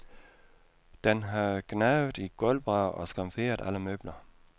Den havde gnavet i gulvbrædder og skamferet alle møbler.